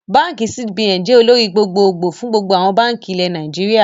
Báànkì CBN jẹ́ olórí gbogbo gbòò fún gbogbo báànkì ilẹ̀ Nàìjíríà